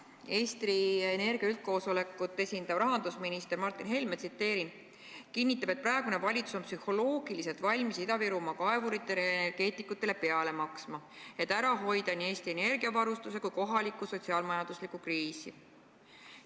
Eesti Energia üldkoosolekut esindav rahandusminister Martin Helme on kinnitanud, et praegune valitsus on psühholoogiliselt valmis Ida-Virumaa kaevuritele ja energeetikutele peale maksma, et ära hoida nii Eesti energiavarustuse kui ka kohalikku sotsiaal-majanduslikku kriisi.